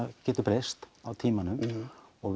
geti breyst á tímanum og